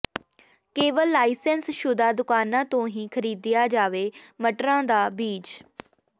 ਕੇਵਲ ਲਾਇਸੈਂਸ ਸ਼ੁਦਾ ਦੁਕਾਨਾਂ ਤੋਂ ਹੀ ਖਰੀਦਿਆ ਜਾਵੇ ਮਟਰਾਂ ਦਾ ਬੀਜ